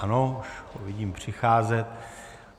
Ano, už ho vidím přicházet.